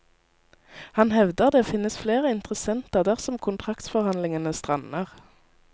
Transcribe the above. Han hevder det finnes flere interessenter dersom kontraktsforhandlingene strander.